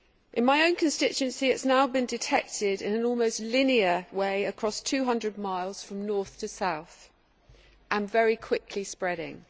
In my own constituency, it has now been detected in an almost linear way across 200 miles from north to south and very quickly spreading.